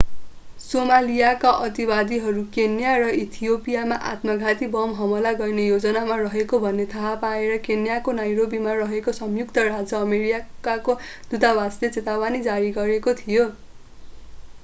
सोमालियाका अतिवादीहरू केन्या र इथियोपियामा आत्मघाती बम हमला गर्ने योजनामा रहेको भन्ने थाहा पाएर केन्याको नैरोबीमा रहेको संयुक्त राज्य अमेरिकाको दूतावासले चेतावनी जारी गरेको थियो